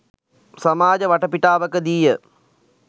සමාජ වටපිටාවකදීය.